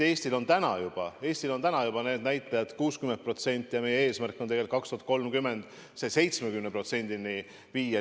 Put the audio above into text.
Eestil on juba täna see näitaja 60% ja meie eesmärk on 2030. aastaks see 70%-ni viia.